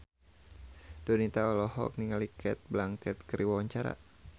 Donita olohok ningali Cate Blanchett keur diwawancara